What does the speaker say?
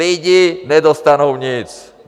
Lidi nedostanou nic.